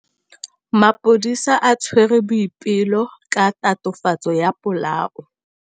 Maphodisa a tshwere Boipelo ka tatofatsô ya polaô.